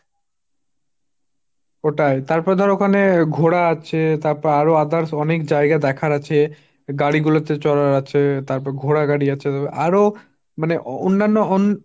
ওটাই, তারপর ধর ওখানে ঘোরা আছে, তারপর আরো others অনেক জায়গা দেখার আছে, গাড়ী গুলোতে চড়ার আছে তারপর ঘোড়া গাড়ী আছে। তারপর আরো মানে অন্যান্য অন